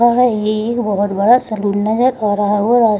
ये एक बहोत बड़ा सैलून नज़र आ रहा है और --